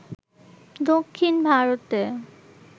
দক্ষিণ ভারতে